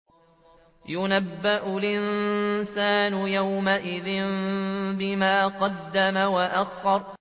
يُنَبَّأُ الْإِنسَانُ يَوْمَئِذٍ بِمَا قَدَّمَ وَأَخَّرَ